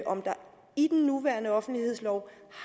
om der i den nuværende offentlighedslov